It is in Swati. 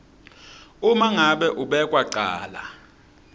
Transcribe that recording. uma ngabe umbekwacala